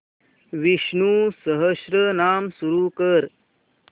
विष्णु सहस्त्रनाम सुरू कर